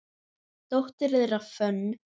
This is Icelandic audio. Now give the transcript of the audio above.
Dóttir þeirra, Fönn